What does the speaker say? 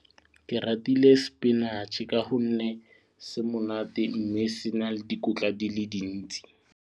Ke ratile spinach ka gonne se monate mme se na le dikotla di le dintsi.